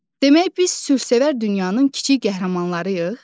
Demək, biz sülsevər dünyanın kiçik qəhrəmanlarıyıq?